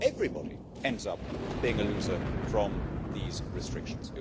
So everybody ends up being a loser from these restrictions.